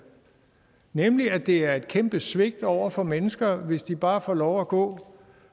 nemlig at det er et kæmpe svigt over for mennesker hvis de bare får lov at gå